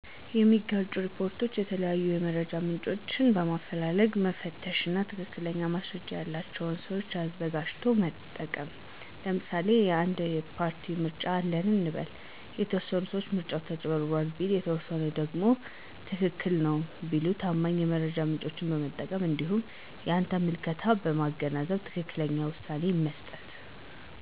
የሚጋጩ ሪፖርቶችን የተለያዩ የመረጃ ምንጮችን በማፈላለግ መፈተሽ እና ትክክለኛ ማስረጃ ያለቸውን ሰዎች አዘጋጅቶ መጠቀም ለምሳሌ አንድ የፓርቲ ምርጫ አለ እንበል፤ የተወሰነ ሰው ምርጫው ተጭበርብሯል ቢል የተወሰኑት ደግሞ ትክክል ነው ቢሉ ታማኝ የመረጃ ምንጮችን በመጠቀም እንዲሁም የአንተን ምልከታ በማገናዘብ ትክክለኛውን ውሳኔ መስጠት።